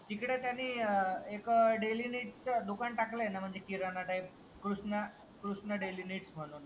तिकडं त्यांनी एक डेली नीड्सचं दुकान टाकलं आहे ना किराण्याचं कृष्णा डेली नीड्स म्हणून